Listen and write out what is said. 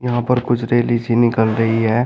यहां पर कुछ रेली सी निकल रही है।